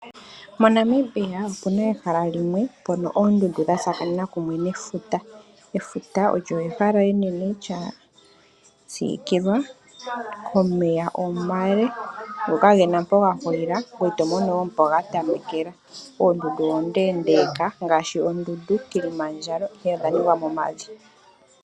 Mo Namibia opuna ehala limwe mpoka oondundu dha tsakanene kumwe nefuta. Efuta olyo ehala enene lyasikilwa komeya omale go kagena mpoka gahulila ngoye oto mono wo mpo ga tamekela . Oondundu oondendeka ngashi oondundu Kilimandjalo ihe odha ningwa momavi.